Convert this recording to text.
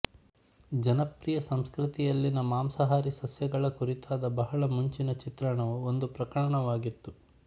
ಜನಪ್ರಿಯ ಸಂಸ್ಕೃತಿಯಲ್ಲಿನ ಮಾಂಸಾಹಾರಿ ಸಸ್ಯಗಳ ಕುರಿತಾದ ಬಹಳ ಮುಂಚಿನ ಚಿತ್ರಣವು ಒಂದು ಪ್ರಕರಣವಾಗಿತ್ತು